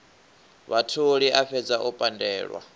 vhatholi a fhedze o pandelwa